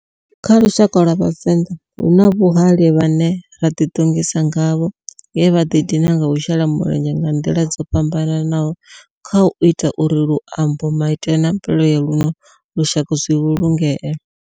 Kha lushaka lwa Vhavenda, huna vhahali vhane ra di tongisa ngavho nge vha di dina nga u shela mulenzhe nga ndila dzo fhambananaho khau ita uri luambo, maitele na mvelele ya luno lushaka zwi vhulungee.